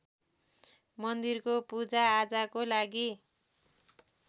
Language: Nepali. मन्दिरको पूजाआजाको लागि